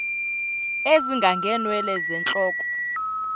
ezinga ngeenwele zentloko